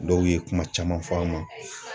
Dɔw ye kuma caman fɔ an ma.